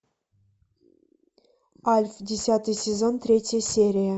альф десятый сезон третья серия